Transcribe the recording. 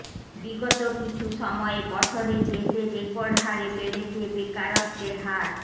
বিগত কিছু সময়ে বছরে দেশে রেকর্ড হারে বেড়েছে বেকারত্বের হার